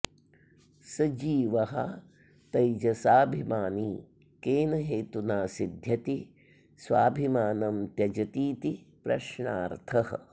स जीवः तैजसाभिमानी केन हेतुना सिध्यति स्वाभिमानं त्यजतीति प्रश्नार्थः